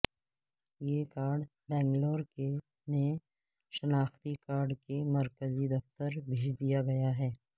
یہ کارڈ بنگلور میں شناختی کارڈ کے مرکزی دفتر بھیج دیا گیا ہے